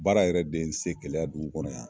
Baara yɛrɛ de se kɛlɛya dugu kɔnɔ yan